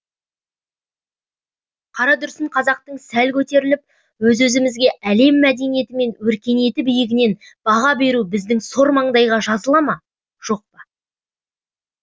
қарадүрсін қазақтықтан сәл көтеріліп өз өзімізге әлем мәдениеті мен өркениеті биігінен баға беру біздің сор маңдайға жазыла ма жоқ па